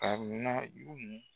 Ka u na jugu mun